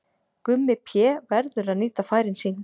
Gummi Pé verður að nýta færin sín!